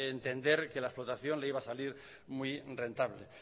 entender que la explotación no le iba a salir muy rentable